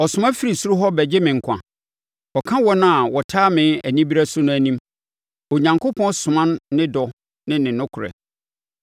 Ɔsoma firi soro hɔ bɛgye me nkwa, ɔka wɔn a wɔtaa me anibereɛ so no anim; Onyankopɔn soma ne dɔ ne ne nokorɛ.